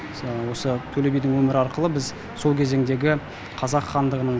осы төле бидің өмірі арқылы біз сол кезеңдегі қазақ хандығының